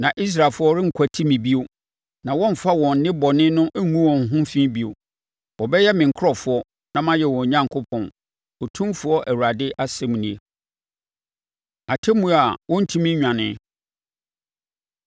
Na Israelfoɔ renkwati me bio, na wɔremfa wɔn nnebɔne no ngu wɔn ho fi bio. Wɔbɛyɛ me nkurɔfoɔ na mɛyɛ wɔn Onyankopɔn, Otumfoɔ Awurade asɛm nie.’ ” Atemmuo A Wɔrentumi Nnwane